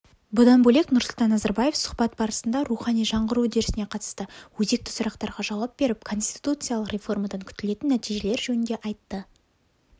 бұдан бөлек нұрсұлтан назарбаев сұхбат барысында рухани жаңғыру үдерісіне қатысты өзекті сұрақтарға жауап беріп конституциялық реформадан күтілетін нәтижелер жөнінде айтты